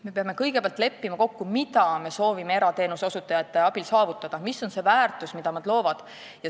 Me peame kõigepealt kokku leppima, mida me soovime erateenuse osutajate abil saavutada – mis on see väärtus, mida nad loovad.